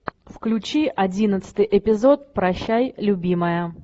включи одиннадцатый эпизод прощай любимая